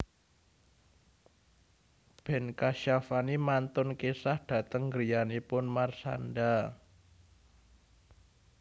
Ben Kasyafani mantun kesah dateng griyanipun Marshanda